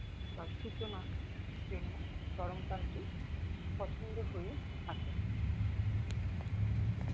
বা সূচনা জন্য গরম কালটি পছন্দ হয়ে থাকে